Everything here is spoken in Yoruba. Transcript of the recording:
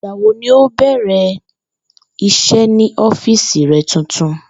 Ìgbà wo ni o óò bè̩rè̩ is̩é̩ ní ó̩fíìsì re̩ tuntun?